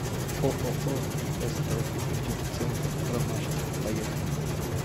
ооо ст фитоцентр ромашка поехали